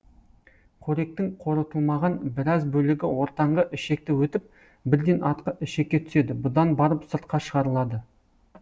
қоректің қорытылмаған біраз бөлігі ортаңғы ішекті өтіп бірден артқы ішекке түседі бұдан барып сыртқа шығарылады